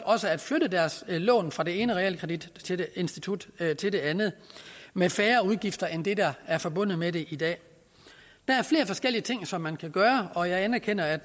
at flytte deres lån fra det ene realkreditinstitut til det andet med færre udgifter end det der er forbundet med det i dag der er flere forskellige ting som man kan gøre og jeg anerkender at